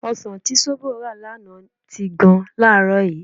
Ọsàn tí Ṣóbọ̀ rà lánàá ti gan láàárọ̀ yìí.